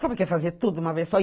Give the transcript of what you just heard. Sabe que é fazer tudo de uma vez só?